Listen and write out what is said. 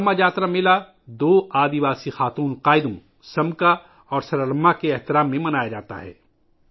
سرلمہ جاترا میلہ دو قبائلی خواتین ہیروئنوں سمکا اور سرلمہ کے احترام میں منایا جاتا ہے